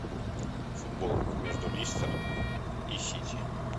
футбол между лестер и сити